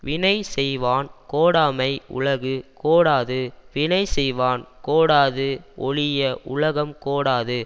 வினை செய்வான் கோடாமை உலகு கோடாது வினை செய்வான் கோடாது ஒழிய உலகம் கோடாது